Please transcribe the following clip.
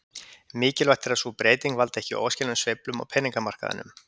Mikilvægt er að sú breyting valdi ekki óæskilegum sveiflum á peningamarkaðinum.